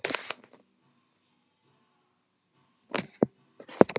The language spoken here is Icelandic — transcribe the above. Guttormur hlýddi á ávarpið af athygli.